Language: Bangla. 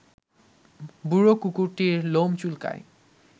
বুড়ো কুকুরটির লোম চুলকায়